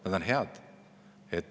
Nad on head.